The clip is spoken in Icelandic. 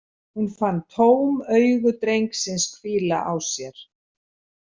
Hún fann tóm augu drengsins hvíla á sér.